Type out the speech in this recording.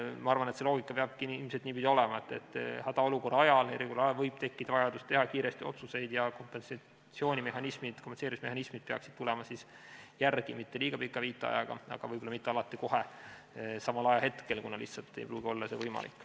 Ma arvan, et see loogika peabki ilmselt niipidi olema, et hädaolukorra ajal, eriolukorra ajal võib tekkida vajadus teha kiiresti otsuseid ja kompenseerimismehhanismid peaksid tulema järele mitte liiga pika viitajaga, aga võib-olla mitte alati ka kohe, samal ajahetkel, kuna see lihtsalt ei pruugi olla võimalik.